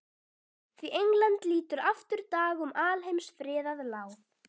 Því England lítur aftur dag um alheims friðað láð.